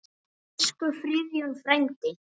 Elsku Friðjón frændi.